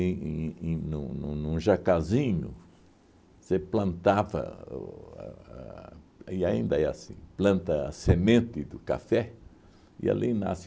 em em num num num jacazinho, você plantava o a, e ainda é assim, planta a semente do café e ali nasce